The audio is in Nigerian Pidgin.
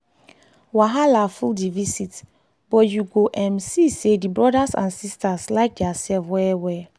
wahala full the visit but you go um see say the brothers and sisters like dia sef well well.